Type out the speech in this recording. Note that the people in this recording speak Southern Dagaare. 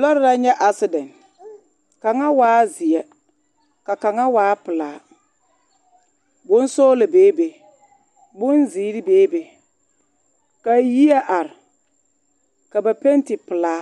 Lɔɛ la nyɛ asedɛn kaŋa waa zeɛ ka kaŋa waa pelaa bonsɔɔlɔ bee be bonzeere bee be ka yie are ka ba pɛnte pelaa